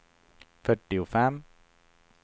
fyrtiofem